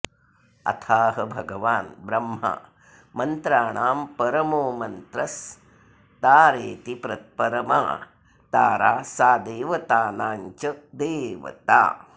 अथाह भगवान् ब्रह्मा मन्त्राणां परमो मन्त्रस्तारेति परमा तारा सा देवतानाञ्च देवता